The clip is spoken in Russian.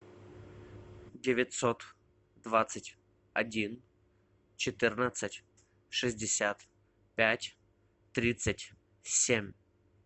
девятьсот двадцать один четырнадцать шестьдесят пять тридцать семь